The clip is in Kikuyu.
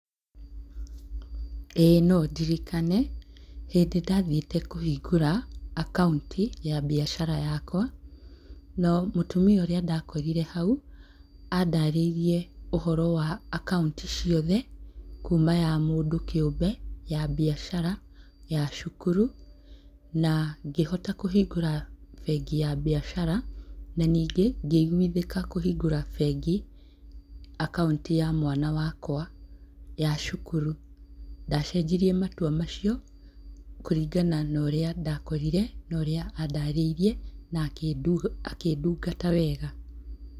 ĩ no ndirikane, hĩndĩ ndathiĩte kũhingũra akaũnti ya mbiacara yakwa. Na mũtumia ũria ndakorire hau, andarĩirie ũhoro wa akaũnti ciothe, kuuma ya mũndũ kĩũmbe, ya mbiacara, ya cukuru, na ngĩhota kũhingũra bengi ya mbiacara. Na ningĩ ngĩiguithĩka kũhingũra bengi, akaũnti ya mwana wakwa ya cukuru. Ndacenjirie matua macio, kũringana na ũrĩa ndakorire, na ũria andarĩirĩe na akĩndungata wega.